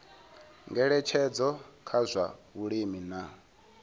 ngeletshedzo kha zwa vhulimi na